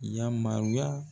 Yamaruya